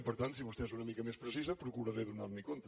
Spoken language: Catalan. per tant si vostè és una mica més precisa procuraré donar li’n compte